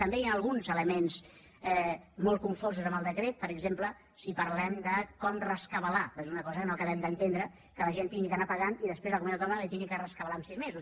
també hi han alguns elements molt confosos en el decret per exemple si parlem de com rescabalar perquè és una cosa que no acabem d’entendre que la gent hagi d’anar pagant i després la comunitat autònoma li ho hagi de rescabalar en sis mesos